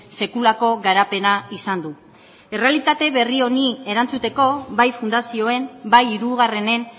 sekulako garapena izan du errealitate berri honi erantzuteko bai fundazioen bai hirugarrenen